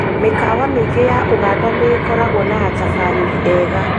Mĩkawa mĩingĩ ya ũganda nĩĩkoragwo na atabarĩri ega